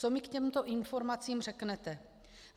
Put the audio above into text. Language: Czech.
Co mi k těmto informacím řeknete?